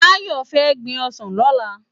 Tayo fè gbin òsán lòlá